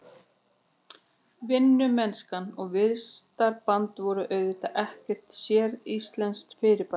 Vinnumennska og vistarband voru auðvitað ekkert séríslenskt fyrirbæri.